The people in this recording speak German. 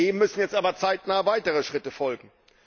Dem müssen jetzt aber zeitnah weitere Schritte folgen.